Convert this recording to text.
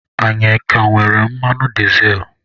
Anyị aka nwere mmanụ dizel?